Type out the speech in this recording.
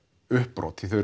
uppbrot því þau